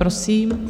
Prosím.